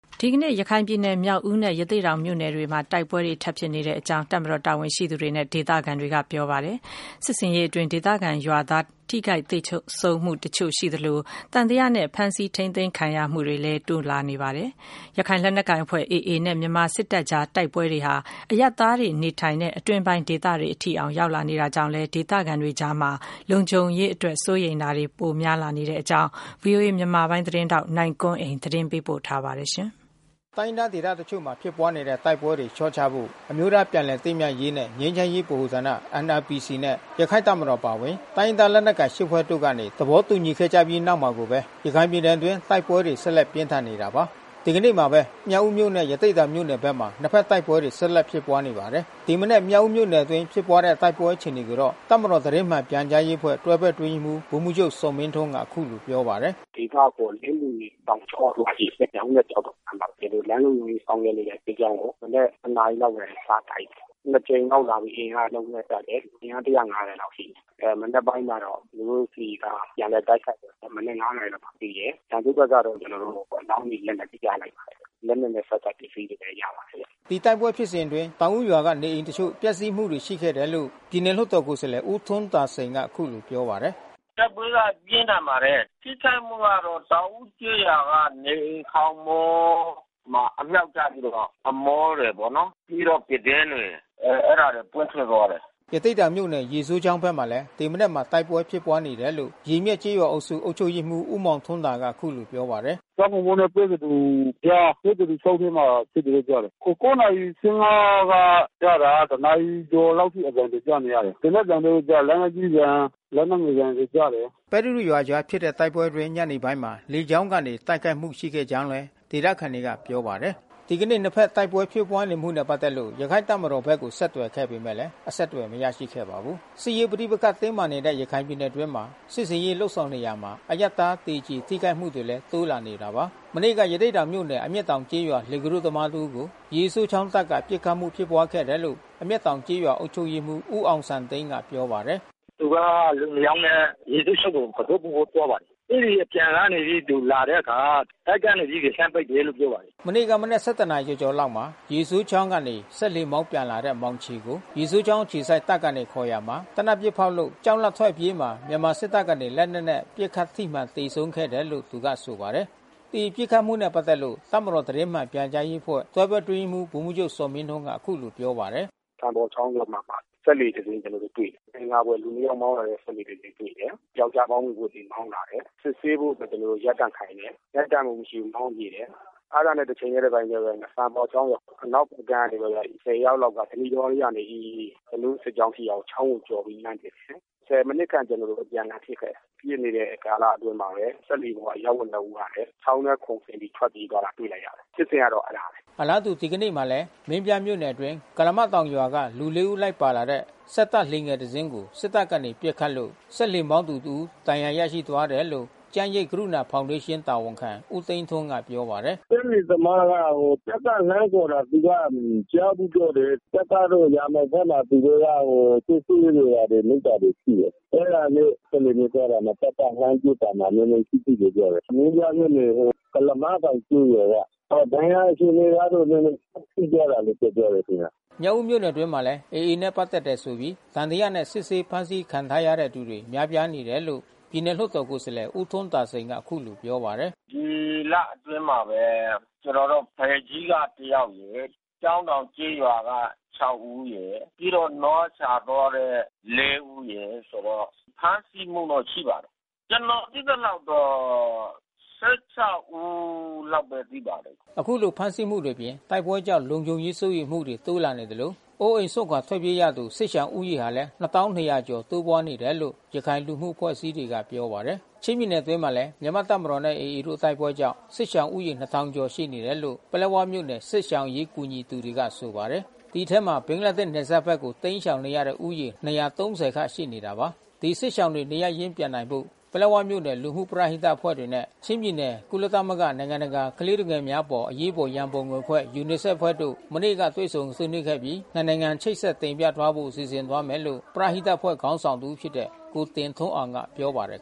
ဒီကနေ့ ရခိုင်ပြည်နယ် မြောက်ဦးမြို့နယ်နဲ့ရသေ့ တောင် မြို့နယ် ထဲမှာ တိုက်ပွဲတွေ ထပ်မံ ဖြစ်ပွားနေတယ်လို့ တပ်မတော်တာဝန်ရှိသူတွေနဲ့ ဒေသခံတွေက ပြောပါတယ်။ စစ်ဆင်ရေးအတွင်း ဒေသခံရွာသား ထိခိုက်သေဆုံးမှုတချို့ ရှိသလို၊ သံသယနဲ့ ဖမ်းဆီးထိန်းသိမ်းခံရမှုတွေလည်း တိုးလာနေပါတယ်။ ရခိုင်လက်နက်ကိုင်အဖွဲ့ AA နဲ့ မြန်မာစစ်တပ်ကြား တိုက်ပွဲတွေဟာ အရပ်သားပြည်သူတွေ နေထိုင်ရာ အတွင်းပိုင်းဒေသတွေအထိ ဝင်ရောက်လာနေတာကြောင့် ဒေသခံတွေကြား လုံခြုံရေး စိုးရိမ်မှုတွေ ပိုများလာနေတဲ့အကြောင်း ဗွီအိုအေမြန်မာပိုင်း သတင်းထောက်နိုင်ကွန်းအိန်ကနေ သတင်းပေးပို့ထားပါတယ်။ တိုင်းရင်းသားဒေသတချို့မှာ ဖြစ်ပွားနေတဲ့ တိုက်ပွဲတွေ လျှော့ချဖို့ အမျိုးသားပြန်လည် သင့်မြတ်ရေးနှင့် ငြိမ်းချမ်း ရေးဗဟိုဌာန နဲ့ ရခိုင့်တပ်မတော်အပါဝင် တိုင်းရင်းသား လက်နက်ကိုင် ဖွဲ့တို့ကနေ သဘောတူညီခဲ့ကြပြီး နောက်မှာကိုပဲ ရခိုင်ပြည်နယ်အတွင်း တိုက်ပွဲတွေ ဆက်လက် ပြင်းထန်နေတာပါ။ ဒီကနေ့မှာကိုပဲ မြောက်ဦးနဲ့ ရသေ့တောင်မြို့နယ်ဘက်မှာ နှစ်ဘက်တိုက်ပွဲတွေ ဆက်လက်ဖြစ်ပွားနေပါတယ်။ ဒီမနက်မြောက်ဦးမြို့နယ်အတွင်းဖြစ်ပွါးတဲ့တိုက်ပွဲအခြေအနေကိုတော့ တပ်မတော်သတင်းမှန် ပြန်ကြားရေး အဖွဲ့ တွဲဘက်အတွင်းရေးမှူး ဗိုလ်မှူးချုပ်ဇော်မင်းထွန်းကအခုလိုပြောပါတယ်။ “ဒေသအခေါ်လင်းမြွေတောင်ကျော မြောက်ဦးနဲ့ကျောက်တော်အကြားမှာ ကျွန်တော်တို့လမ်းလုံခြုံရေး ဆောင်ရွက် နေတဲ့စစ်ကြောင်းကို မနက်တနာရီလောက်ကနေ စတိုက်တယ်။ နှစ်ကြိမ်လောက်လာပြီး အင်အားအလုံး အရင်းနဲ့ တိုက်တယ်။ အင်အား လောက်ရှိတယ်။ မနက်ပိုင်းကတော့ ကျွန်တော်တို့ဆီက ပြန်လည်တိုက်ခိုက်တယ်။ မနက် နာရီမှပြီးတယ်။ ရန်သူ့ဘက်ကတော့ ကျွန်တော်တို့ အလောင်းတွေ လက်နက်တွေ ရလိုက်ပါတယ်။ လက် နက်နဲ့ ဆက်စပ်ပစ္စည်းတွေလည်းရလိုက်ပါတယ်။” ဒီတိုက်ပွဲဖြစ်စဉ်အတွင်း တောင်ဦးရွာကနေအိမ် တချို့ပျက်စီးမှုရှိခဲ့တယ်လို့ ပြည်နယ်လွှတ်တော်ကိုယ်စားလှယ် ဦးထွန်းသာစိန်ကအခုလိုပြောပါတယ်။ “တိုက်ပွဲကပြင်းထန်ပါတယ်။ ထိခိုက်မှုကတော့ တောင်ဦးကျေးရွာကနေအိမ်ခေါင်မိုးမှာ အမြှောက်ကျပြီးတော့ အမိုးတွေပေါ့နော် ပြီးတော့ ပြတင်းပေါက်တွေ ပွင့်ထွက်သွားတယ်။” ရသေ့တောင်မြို့နယ် ရေစိုးချောင်းဘက်မှာလဲ ဒီမနက်မှာ တိုက်ပွဲဖြစ်ပွား နေတယ်လို့ ရေမျက်ကျေးရွာအုပ်စု အုပ် ချုပ်ရေးမှူး ဦးမောင်ထွန်းသာကပြောပါတယ်။ “ကျောက်ကုန်ပုတ်နဲ့ပဲသဒူကြား ၊ ပဲသဒူချောင်းထဲမှာဖြစ်တယ်လို့ကြားတယ်။ နာရီ က ကြားတာက နာရီ ကျော်လောက်အထိ အသံတွေကြားနေရတယ်။ သေနတ်သံတို့ လက်နက်ကြီးသံ လက်နက်ငယ်သံတွေကြားတယ်။” ပဲသဒူရွာအကြားဖြစ်တဲ့တိုက်ပွဲအတွင်း ညနေပိုင်းမှာ လေကြောင်းကနေ တိုက်ခိုက်မှု ရှိခဲ့ကြောင်းလည်း ဒေသသခံတွေကပြောပါတယ်။ ဒီကနေ့နှစ်ဖက်တိုက်ပွဲဖြစ်ပွားနေမှုနဲ့ပက်သက်လို့ရခိုင့်တပ်မတော်ဘက်ကိုဆက်သွယ်ခဲ့ပေမယ့်လဲအဆက်အသွယ်မရရှိခဲ့ပါဘူး။ စစ်ရေးပဋိပက္ခတင်းမာနေတဲ့ရခိုင်ပြည်နယ်အတွင်းမှာ စစ်ဆင်ရေးလုပ်ဆောင်နေရာမှာ အရပ်သား သေကြေ ထိခိုက်မှုတွေလည်း တိုးလာနေတာပါ။ မနေ့က ရသေ့တောင်မြို့နယ် အမျက်တောင်ကျေးရွာသား လှေကူးတို့ သမားတစ်ဦးကို ရေစိုးချောင်းတပ် က ပစ်ခတ်မှုဖြစ်ပွားခဲ့တယ်လို့ အမျက်တောင်ကျေးရွာအုပ်ချုပ်ရေးမှူး ဦးအောင်စံသိန်းကပြောပါတယ်။ “သူကလူနှစ်ယောက်နဲ့ ရေစိုးချောင်းကို ကူတို့ပို့ဖို့သွားပါတယ်။ အဲဒီအပြန်ကနေ သူလာတဲ့အခါ တပ်ကနေပြီး လှမ်းပစ်တယ်လို့ပြောပါတယ်။” မနေ့ကမနက် နာရီကျော်ကျော်လောက်မှာ ရေစိုးချောင်းကနေစက်လှေမောင်းပြန်လာတဲ့ မောင်ချေကို ရေစိုးချောင်း အခြေစိုက် တပ်ကနေ ခေါ်ရာမှာ သေနတ်ပစ်ဖောက်လို့ကြောက်လန့်ထွက်အပြေးမှာ မြန်မာစစ်တပ် ကနေ လက်နက်နဲ့ပစ်ခတ်ထိမှန်သေဆုံးခဲ့တယ်လို့ သူကဆိုပါတယ်။ ဒီပစ်ခတ်မှုနဲ့ပက်သက်လို့ တပ်မတော်သတင်းမှန်ပြန်ကြားရေးအဖွဲ့ တွဲဘက်အတွင်းရေးမှူး ဗိုလ်မှူးချုပ် ဇော်မင်းထွန်းက အခုလို ပြောပါတယ်။ “စံပေါ်ချောင်းထဲမှာ စက်လှေတစင်းကျွန်တော်တို့တွေ့တယ်။ မသင်္ကာစရာ လူတယောက်မောင်းလာတဲ့ စက်လှေ တစင်းကျွန်တော်တို့ တွေ့တယ်။ ပြောက်ကျား ဘောင်းဘီဝတ်ပြီးမောင်းလာတယ်။ စစ်ဆေးဖို့ကျွန်တော်တို့ရပ်တန့် ခိုင်းတယ်။ ရပ်တန့်မှု မရှိဘူးမောင်းပြေးတယ်။ အဲတာနဲ့တချိန်ထဲတပြိုင်ထဲဘဲ စံပေါ်ချောင်းရဲ့အနောက်ဖက် ကမ်း ကနေပြီးတော့ ယောက်လောက်က ဓနိတောကနေ ကျွန်တော်တို့စစ်ကြောင်းရှိရာ ချောင်းကိုကျော်ပြီးလှန်း ပစ်တယ်။ မိနစ်ခန့်ကျွန်တော်တို့အပြန်အလှန်ပစ်ခဲ့တယ်။ ပစ်နေတဲ့ကာလအတွင်းမှာဘဲ စက်လှေပေါ် အရပ် ဝတ်နှစ်ဦးကလဲ ချောင်းထဲခုန်ဆင်းပြီးထွက်ပြေးသွားတာတွေ့လိုက်ရတယ်။ ဖြစ်စဉ်ကတော့အဲတာဘဲ။” အလားတူ ဒီကနေ့မှာလဲ မင်းပြားမြို့နယ်အတွင်း ကုလားမတောင်ရွာက လူ ၄ ဦးလိုက်ပါလာတဲ့ စက်တပ်လှေငယ် တစ်စီးကို စစ်တပ်ကနေပစ်ခတ်လို့စက်လှေမောင်းသူတစ်ဦး ဒဏ်ရာရသွားတယ်လို့ ကျန်းရိပ်ကရုဏာဖောင်ဒေး ရှင်းတာဝန်ခံ ဦးသိန်းထွန်းကပြောပါတယ်။ “စက်လှေသမားက တပ်ကလှမ်းခေါ်တာ သူကမကြားဘူးလို့ပြောတယ်။ တပ်ကတော့ ရာမောင်းဖက်မှာ သူတို့က စစ်ဆေးနေတာတွေ လုပ်တာတွေရှိတယ်။ အဲတာနဲ့ စက်လှေနဲ့ သွားတာမှာ တပ်ကလှမ်းပစ်တာမှာနဲနဲ ထိတယ်လို့ပြောတယ်။ မင်းပြားမြို့နယ် ကုလားမတောင်ကျေးရွာက။ ဒဏ်ရာအခြေအနေကတော့ နဲနဲထိသွား တယ်လို့ပြောတယ်ခင်ဗျ။” မြောက်ဦးမြို့နယ်အတွင်းမှာလဲ AAနဲ့ပက်သက်တယ်ဆိုပြီးသံသယနဲ့စစ်ဆေးဖမ်းဆီးခံထားရတဲ့သူတွေ များပြားနေတယ်လို့ ပြည်နယ်လွှတ်တော်ကိုယ်စားလှယ် ဦးထွန်းသာစိန်ကအခုလိုပြောပါတယ်။ “ဒီလအတွင်းမှာဘ ဲကျွန်တေ်ာတို့ဖယ်ကြီးကတယောက်ရယ်။ ကျောင်းတောင်ကျေးရွာက ဦးရယ်။ ပြီးတော့နွားရှာ သွားတဲ့ ဦးရယ်။ ဆိုတော့ဖမ်းဆီးမှုတော့ ရှိပါတယ်။ ကျွန်တော်သိသလောက် ကတော့ ဦးတော့ရှိပါတယ်။” ခုလိုဖမ်းဆီးမှုတွေအပြင် တိုက်ပွဲကြောင့် လုံခြုံရေးစိုးရိမ်မှုတွေ တိုးလာနေသလို ၊ အိုးအိမ်စွန့်ခွာထွက်ပြေးသူ စစ်ရှောင်ဦးရေဟာလည်း ကျော် တိုးပွား လာနေတယ်လို့ ရခိုင်လူမှု အဖွဲ့အစည်းတွေက ပြောပါတယ်။ ချင်းပြည်နယ်အတွင်းမှာလဲ မြန်မာ့တပ်မတော်နဲ့AAတို့တိုက်ပွဲကြောင့် စစ်ရှောင်ဦးရေ ကျော်ရှိနေတယ်လို့ ပလက်ဝမြို့နယ် စစ်ရှောင်အရေးကူညီသူတွေကဆိုပါတယ်။ ဒီအထဲ ဘင်္ဂလားဒေ့ရှ်နယ်စပ်ဘက်ကိုတိမ်းရှောင်နေတဲ့ဦးရေ ခန့်ရှိနေတာပါ။ ဒီစစ်ရှောင်တွေ နေရပ်ရင်းပြန်နိုင်ဖို့ ပလက်ဝမြို့နယ်လူမှုပရဟိတအဖွဲ့တွေနဲ့ချင်းပြည်နယ် ကုလသမဂ္ဂ နိုင်ငံတ ကာကလေးသူငယ်များအပေါ် အရေးပေါ်ရန်ပုံငွေအဖွဲ့ UNICEF အဖွဲ့တို့မနေ့ကတွေ့ဆုံဆွေးနွေးခဲ့ ပြီး နှစ်နိုင် ငံချိတ်ဆက်တင်ပြသွားဖို့စီစဉ်သွားမယ်လို့ ပရဟိတအဖွဲ့ခေါင်းဆောင်တဦးဖြစ်တဲ့ ကိုတင်ထွန်းအောင်က ပြောပါတယ်